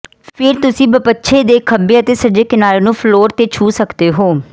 ਫੇਰ ਤੁਸੀਂ ਬਪੱਛੇ ਦੇ ਖੱਬੇ ਅਤੇ ਸੱਜੇ ਕਿਨਾਰੇ ਨੂੰ ਫਲੋਰ ਤੇ ਛੂਹ ਸਕਦੇ ਹੋ